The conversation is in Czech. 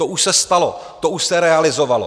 To už se stalo, to už se realizovalo.